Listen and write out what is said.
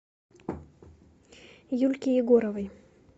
юльки егоровой